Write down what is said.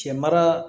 Cɛ mara